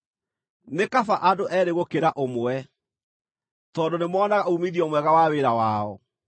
Nĩ kaba andũ eerĩ gũkĩra ũmwe, tondũ nĩmoonaga uumithio mwega wa wĩra wao: